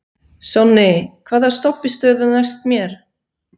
Sonný, hvaða stoppistöð er næst mér?